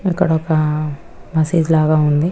ఇక్కడ ఒక మసీదు లాగ ఉంది.